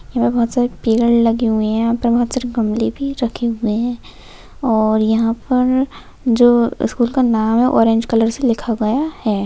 यहा पे बहुत सारे पेड़ लगे हुए है यहा पे बहुत सारी गमले भी रखे हुए है। और यहा पर जो स्कूल का नाम है ऑरेंज कलर से लिखा गया है।